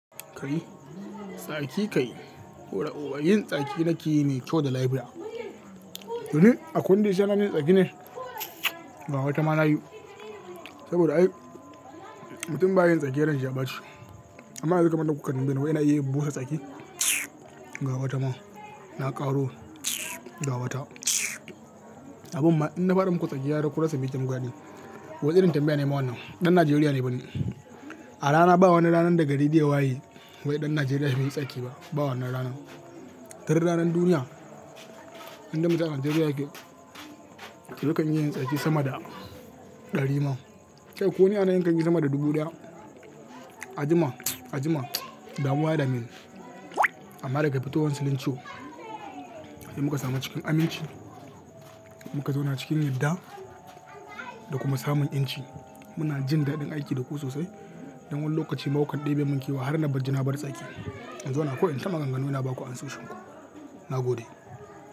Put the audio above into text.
Kai tsaki kai baro'uba yin tsaki nake yi me kyau da laifiya. To ni akwai wanda ya isa ya hanani inyi tsaki ne? Ga wata ma na yi. Saboda ai mutum ba yayin tsaki sai ran shi ya bace. Amma yanzu kamar da kuka tambaye ni wai ina iya busa tsaki. Gawa ta ma na ƙaro gawa ta. Abun ma in na faɗa muku tsaki ya daka ku rasa mijin gwadi. Wancan irin tambaya ne mawa nan. Ɗan Najeriya ne banin. A rana ba wannan ranan daga ridde waye wai ɗan Najeriya bai yi tsaki ba. Ba wannan rana. Ta rayu ranan duniya idan muka sha Najeriya yake, to muka iya yin tsaki sama da ɗari ma. Kai ko wane ana yanka shi sama da dubu ɗaya. A jima, a jima ba mu wada min. Amma daga fitowan silincho dai muka samu cikin aminci, muka zauna cikin yadda da kuma samun inci. Muna jin daɗin aiki da ku sosai don wannan lokaci ma wa kande bai munke ba har na bar jina bar tsaki. Yanzu ana koyon ta maganganu ina baku anso shinku. Na gode.